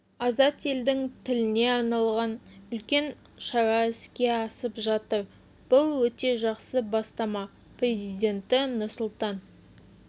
азат елдің тіліне арналған үлкен шара іске асып жатыр бұл өте жақсы бастама президенті нұрсұлтан